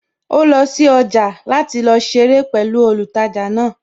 Ó lọ sí ọjà jẹ́ láti lọ ṣeré pẹ̀lú olùtajà náà